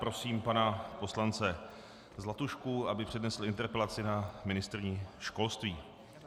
Prosím pana poslance Zlatušku, aby přednesl interpelaci na ministryni školství.